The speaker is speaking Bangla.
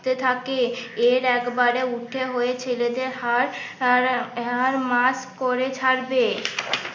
তে থাকে এর একবারে উঠে হয়ে ছেলেদের হাড় আর মাস করে ছাড়বে।